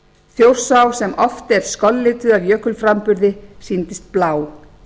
þjórsá sem oft er skollituð af jökulframburði sýndist blá